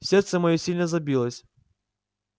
сердце моё сильно забилось